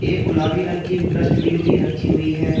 गुलाबी रंग की डस्टबिन भी रखी हुई है।